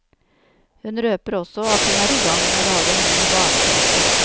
Hun røper også at hun er i gang med å lage en ny barneplate.